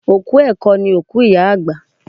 Òkú ẹ̀kọ ni iku iya agba